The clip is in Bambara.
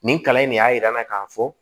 Nin kalan in ne y'a yira n na k'a fɔ